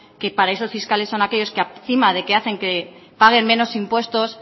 que paraísos fiscales son aquellos que encima de que hacen que paguen menos impuestos